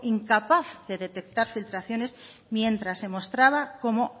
incapaz de detectar filtraciones mientras se mostraba como